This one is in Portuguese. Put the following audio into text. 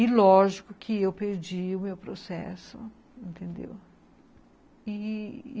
E lógico que eu perdi o meu processo, entendeu? e...